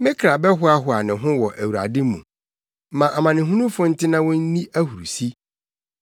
Me kra bɛhoahoa ne ho wɔ Awurade mu; ma amanehunufo nte na wonni ahurusi.